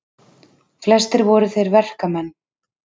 Flestir voru þeir verkamenn.